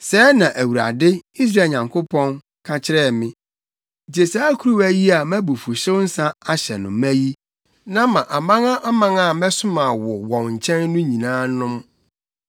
Sɛɛ na Awurade, Israel Nyankopɔn, ka kyerɛɛ me: “Gye saa kuruwa yi a mʼabufuwhyew nsa ahyɛ no ma yi, na ma amanaman a mɛsoma wo wɔn nkyɛn no nyinaa nnom.